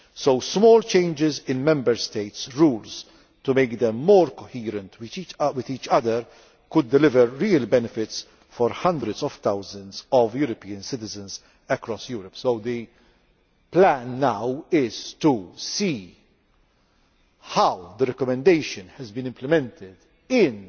So small changes in Member States' rules to make them more coherent with each other could deliver real benefits for hundreds of thousands of European citizens across Europe. The plan now is to see how the recommendation has been implemented in